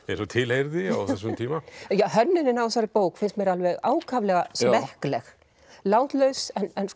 tilheyrði á þessum tíma já hönnunin á þessari bók finnst mér ákaflega smekkleg látlaus